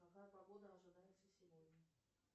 какая погода ожидается сегодня